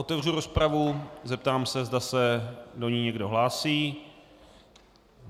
Otevřu rozpravu, zeptám se, zda se do ní někdo hlásí.